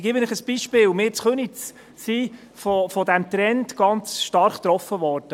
Ich gebe Ihnen ein Beispiel: Wir in Köniz sind von diesem Trend gerade eben ganz stark getroffen worden.